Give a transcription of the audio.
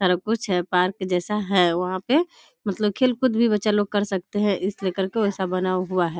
सारा कुछ है पार्क जैसा है वहाँ पे मतलब खेल-कूद भी बच्चा लोग कर सकते हैं इसलिए करके वो ऐसा बना हुआ है।